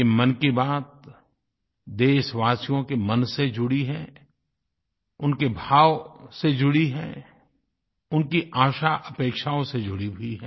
ये मन की बात देशवासियों के मन से जुड़ी हैं उनके भाव से जुड़ी हैं उनकी आशाअपेक्षाओं से जुड़ी हुई हैं